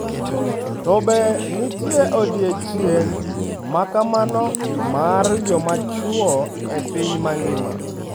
To be nitie odiechieng ' ma kamano mar joma chwo e piny mangima?